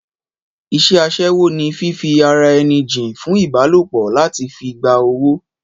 Ìṣe asẹ́wó ni fífi ara ẹni jìn fún ìbálòpọ̀ láti fi gba owó